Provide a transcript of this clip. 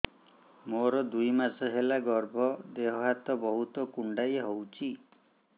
ମୋର ଦୁଇ ମାସ ହେଲା ଗର୍ଭ ଦେହ ହାତ ବହୁତ କୁଣ୍ଡାଇ ହଉଚି